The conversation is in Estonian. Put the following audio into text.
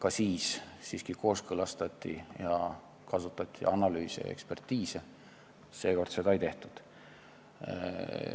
Aga siis kõike kooskõlastati ning kasutati analüüse ja ekspertiise, seekord seda ei tehtud.